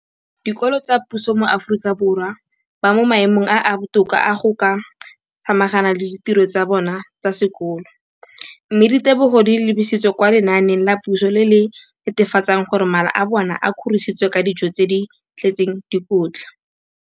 dikolo tsa puso mo Aforika Borwa ba mo maemong a a botoka a go ka samagana le ditiro tsa bona tsa sekolo, mme ditebogo di lebisiwa kwa lenaaneng la puso le le netefatsang gore mala a bona a kgorisitswe ka dijo tse di tletseng dikotla.